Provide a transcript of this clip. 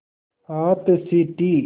हाथ सीटी